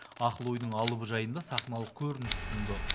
ақыл ойдың алыбы жайында сахналық көрініс ұсынды